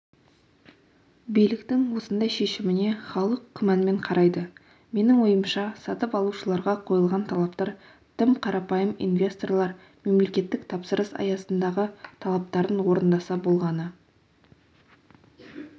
биліктің осындай шешіміне халық күмәнмен қарайды менің ойымша сатып алушыларға қойылған талаптар тым қарапайым инвесторлар мемлекеттік тапсырыс аясындағы талаптарын орындаса болғаны